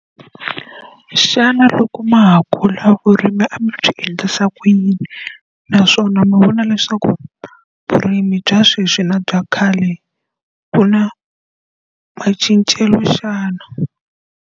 Xana loko ma ha kula vurimi a mi byi endlisa ku yini? Naswona mi vona leswaku vurimi bya sweswi na bya khale, ku na macincelo xana?